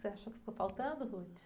Você achou que ficou faltando?